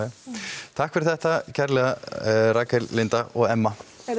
takk fyrir þetta kærlega Rakel Linda og Emma